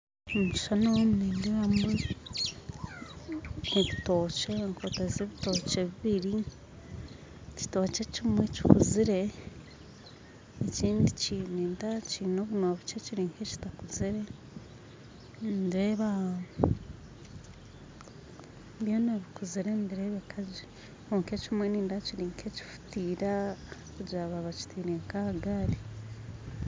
Omukishushani nomu nindebamu ebitookye enkota z'ebitookye bibiri ekitookye ekimwe kikuzire ekindi nindeeba kine obunwa bukye kirinka ekitakuzire nindeeba byoona bikuzire nibirebeka gye kwonka ekimwe nindeeba kirinka ekihuteire kugira baba bakitiire aha'gaari.